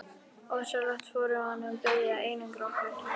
Ósjálfrátt vorum við byrjuð að einangra okkur.